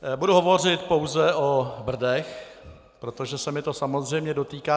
Budu hovořit pouze o Brdech, protože se mě to samozřejmě dotýká.